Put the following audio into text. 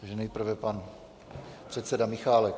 Takže nejprve pan předseda Michálek.